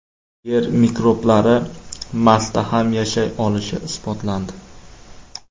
Yer mikroblari Marsda ham yashay olishi isbotlandi.